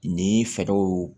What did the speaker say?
Ni fɛɛrɛw